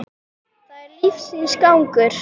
Það er lífsins gangur.